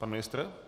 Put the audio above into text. Pan ministr.